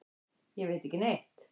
Ég veit ekki neitt.